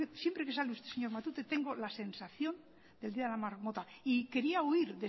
siempre que sale usted señor matute tengo la sensación del día de la marmota y quería huir